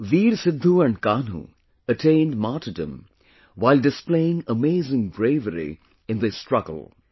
Veer Sidhu and Kanhu attained martyrdom while displaying amazing bravery in this struggle